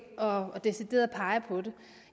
og decideret pege på det